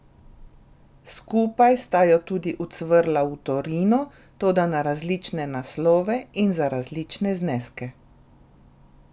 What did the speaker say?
Skupaj sta jo tudi ucvrla v Torino, toda na različne naslove in za različne zneske.